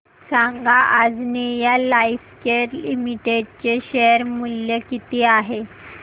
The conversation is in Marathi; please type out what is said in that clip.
सांगा आंजनेया लाइफकेअर लिमिटेड चे शेअर मूल्य किती आहे